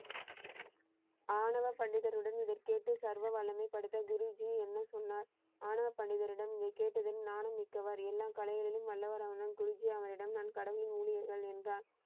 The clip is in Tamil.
ஆணவ பண்டிதருடன் இதை கேட்டு சர்வ வல்லமை படைத்த குருஜி என்ன சொன்னார்? ஆணவ பண்டிதரிடம் நீ கேட்டதின் ஞானமிக்கவர். எல்லா கலைகளிலும் வல்லவரான குருஜி அவரிடம் கடவுளின் ஊழியர்கள் என்றார்.